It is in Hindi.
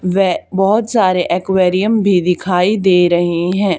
व बहोत सारे एक्वेरियम भी दिखाई दे रहें हैं।